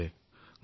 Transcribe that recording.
নাই নাইআমিও